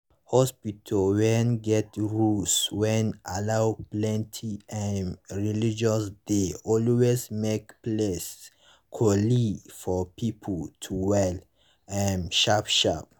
hospitas wen get rules wen allow plenti um relgions dey always make place cooleee for pipu to well um sharp sharp